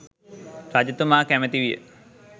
රජතුමා කැමැති විය.